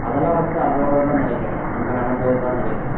அதெல்லாம் வந்து அதோட இருந்தா நினைக்கிறேன் அங்க நடந்தது என்று தான் நினைக்கிறேன்